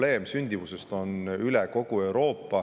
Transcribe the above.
Sama sündimuse probleem on üle kogu Euroopa.